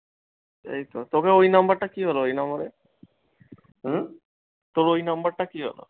এই তো, তোকে ঐ number টা কি হল, ঐ নাম্বারে? হুম, টর ঐ number টা কি হল?